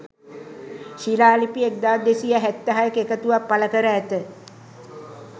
ශිලාලිපි 1276 ක එකතුවක් පළකර ඇත.